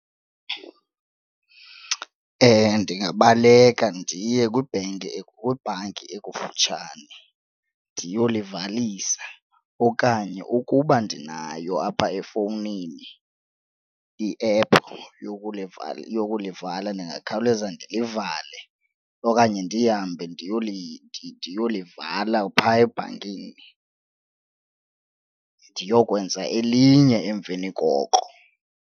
ndingabaleka ndiye kwibhenki kwibhanki ekufutshane ndiyolivalisa okanye ukuba ndinayo apha efowunini iephu yokulivala yokulivala ndingakhawuleza ndilivale okanye ndihambe ndiyolivala phaa ebhankini ndiyokwenza elinye emveni koko.